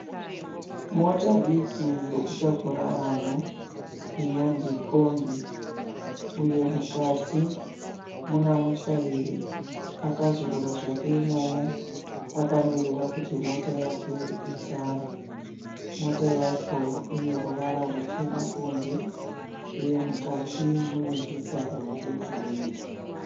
Mota diki yokutakura vanhu inonzi kombi uye mukati muna mutyairi akazorora zvake imomo akamirira kuti mota yake izare. Motikari yacho ine ruvara ruchena kunze uye mukati mune zvigaro zvegireyi.